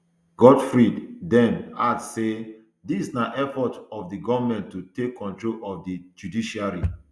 godfred dame add say dis na effort of di goment to take control of di judiciary